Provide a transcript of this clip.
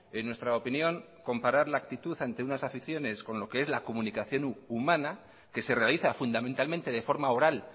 en nuestra opinión comparar la actitud ante unas aficiones con lo que es la comunicación humana que se realiza fundamentalmente de forma oral